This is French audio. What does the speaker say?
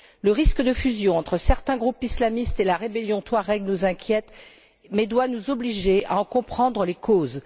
Le risque de fusion entre certains groupes islamistes et la rébellion touareg nous inquiète mais doit nous obliger à en comprendre les causes.